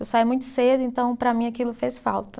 Eu saí muito cedo, então para mim aquilo fez falta.